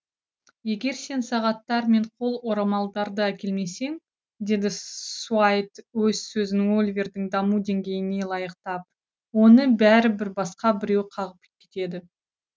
егер сен сағаттар мен қол орамалдарды әкелмесең деді суайт өз сөзін оливердің даму деңгейіне лайықтап оны бәрібір басқа біреу қағып кетеді